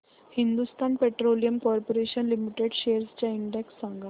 Hindustan Petroleum Corporation Limited shares चा index सांगा